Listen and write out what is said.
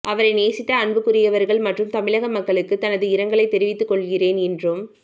அவரை நேசித்த அன்புக்குரியவர்கள் மற்றும் தமிழக மக்களுக்கு தனது இரங்கலை தெரிவித்துகொள்கின்றேன் என்றும்